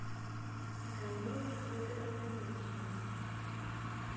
галина федоровна нюхина